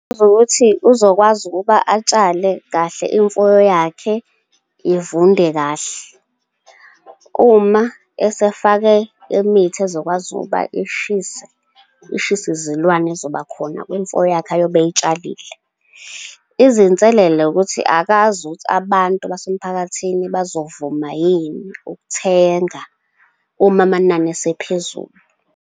Ukuthi uzokwazi ukuba atshale kahle, imfuyo yakhe ivunde kahle. Uma esefake imithi ezokwazi ukuba ishise izilwane ez'zoba khona kwimfuyo yakhe ayobe eyitshalile. Izinselelo ukuthi akazi ukuthi abantu basemphakathini bazovuma yini ukuthenga uma amanani esephezulu.